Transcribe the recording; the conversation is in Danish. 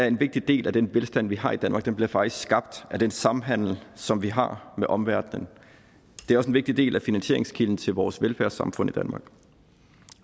en vigtig del af den velstand vi har i danmark bliver faktisk skabt af den samhandel som vi har med omverdenen det er også en vigtig del af finansieringskilden til vores velfærdssamfund i danmark